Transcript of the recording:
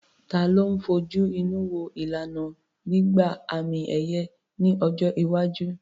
Ta ló ń fojú inú wo ìlànà gbígba àmì-ẹ̀yẹ ní ọjọ́ iwájú?